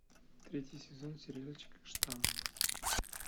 третий сезон сериальчик штамм